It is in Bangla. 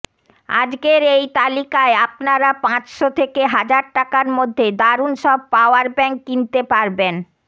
আজকের এই তালিকায় আপনারা পাঁচশ থেকে হাজার টাকার মধ্যে দারুন সব পাওয়ার ব্যাঙ্ক কিনতে পারবেন